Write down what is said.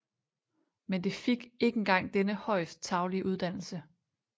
Men det fik ikke engang denne højst tarvelige uddannelse